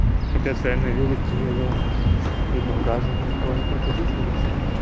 капец а я на велике еду с багажником кого ни будь прокатить ребята